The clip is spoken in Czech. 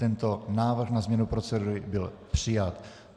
Tento návrh na změnu procedury byl přijat.